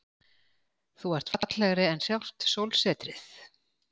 Þú ert fallegri en sjálft sólsetrið.